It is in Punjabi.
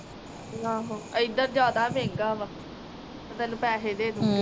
ਆਹ ਏਧਰ ਜਾਦਾ ਮਹਿੰਗਾ ਵਾ ਮੈ ਤੈਨੂੰ ਪੈਸੇ ਦੇ ਦੂਗੀ